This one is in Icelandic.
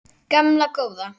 Gamla góða